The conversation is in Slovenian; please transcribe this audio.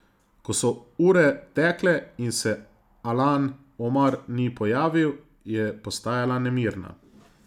Ko so ure tekle in se Alan Omar ni pojavil, je postajala nemirna.